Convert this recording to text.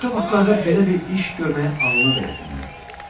Başqa vaxtlarda belə bir iş görməyə ağlına da gətirməzdi.